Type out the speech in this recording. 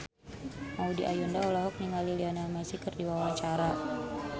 Maudy Ayunda olohok ningali Lionel Messi keur diwawancara